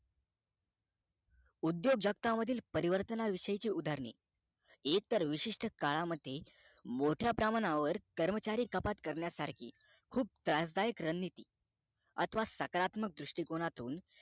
उद्योग जगतातील परिवर्तन विषययची उद्गारांनी एकतर विशिष्ट काळा मध्ये मोठ्या प्रमाणावर कर्मचारी कपात करण्या सारखी खूप त्रासदायक रणनीती अथवा सकारात्मक दृष्टीकोनातून